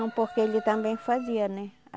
Não, porque ele também fazia, né?